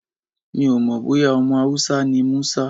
Mi ò mọ̀ bóyá ọmọ Hausa ni Musa.